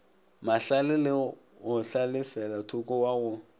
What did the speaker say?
mahlale le go hlalefelathoko wago